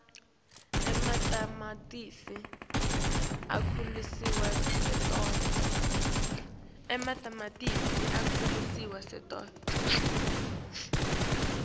ematamatisi akhulisa sitolo